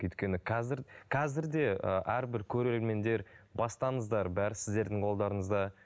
өйткені қазір қазірде ііі әрбір көреремендер бастаңыздар бәрі сіздердің қолдарыңызда